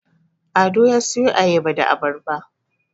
Ado ya siyo Ayaba da Abarba